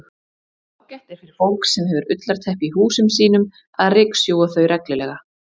Ágætt er fyrir fólk sem hefur ullarteppi í húsum sínum að ryksjúga þau reglulega.